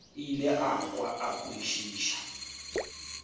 ile a kwa a kwešiša